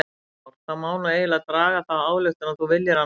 Heimir Már: Það má nú eiginlega draga þá ályktun að þú viljir hana út?